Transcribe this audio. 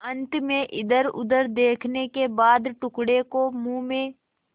अंत में इधरउधर देखने के बाद टुकड़े को मुँह में